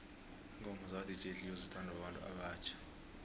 ingoma zaka dj cleo zithanwa babantu abatjha